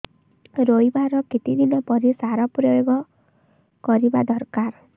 ରୋଈବା ର କେତେ ଦିନ ପରେ ସାର ପ୍ରୋୟାଗ କରିବା ଦରକାର